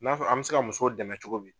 N'a fɔ an bɛ se ka muso dɛmɛ cogo min.